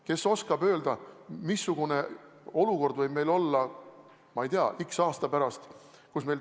Kes oskab öelda, missugune olukord võib meil olla, ma ei tea, x aasta pärast.